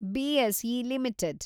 BSE limited